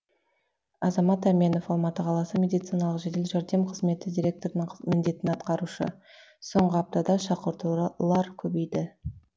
азамат әменов алматы қаласы медициналық жедел жәрдем қызметі директорының міндетін атқарушы соңғы аптада шақыртулар көбейді